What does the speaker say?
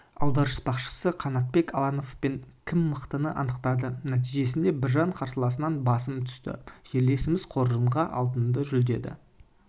аударыспақшысы қанатбек алпановпен кім мықтыны анықтады нәтижесінде біржан қарсыласынан басым түсті жерлесіміз қоржынға алтын жүлдені